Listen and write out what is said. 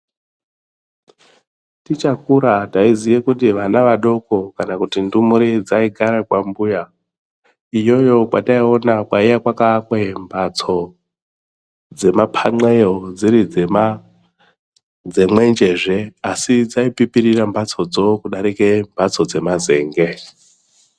Tichakura taiziye kuti vana vadoko kana kuti ndumure dzaigara kwambuya iyoyo kwataiona kwaiye kwakaakwe mhatso dzemapanxeyo dziri dzemwenjezve asi dzaipipira mhatsodzo kudarike mhatso dzemazenge.